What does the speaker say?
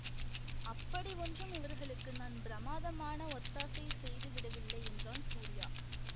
அப்படி ஒன்றும் இவர்களுக்கு நான் பிரமாதமான ஒத்தாசை செய்து விடவில்லை என்றான் சூரியா